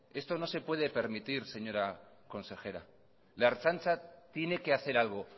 esto no se puede permitir señora consejera la ertzaintza tiene que hacer algo